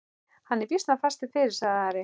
Hann er býsna fastur fyrir, sagði Ari.